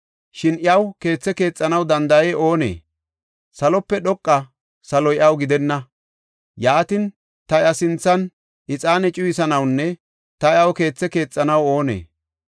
Shin iyaw keethe keexanaw danda7ey oonee? Salope dhoqa saloy iyaw gidenna! Yaatin, ta iya sinthan ixaane cuyisanawnne ta iyaw keethe keexanaw oonee?